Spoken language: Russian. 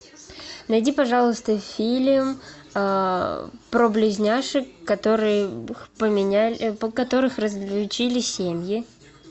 найди пожалуйста фильм про близняшек которых поменяли которых разлучили семьи